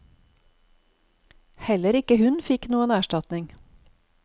Heller ikke hun fikk noen erstatning.